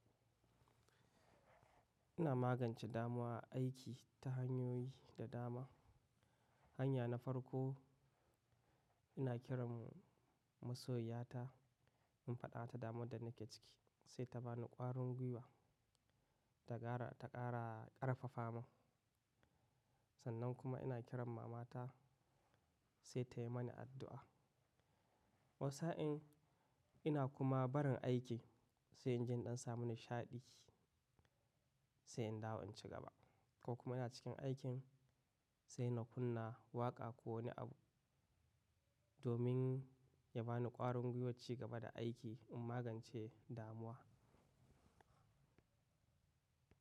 Ina magance damuwa aiki ta hanyoyi da dama. Hanya na farko ina kiran masoyiya ta in faɗa ta damuwar da nake ciki sai ta bani ƙwarin gwiwa ta ƙara ƙarfafa mun sannan kuma ina kiran mama ta sai tayi mani addu'a. Wata sa in ina kuma barin aiki sai injin ɗan samu nishaɗi sai in dawo in cigaba ko kuma ina cikin aikin sai na kunna waƙa ko wani abu domin ya bani ƙwarin gwiwo cigaba da aiki in magance damuwa.